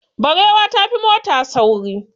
Barewa ta fi mota sauri.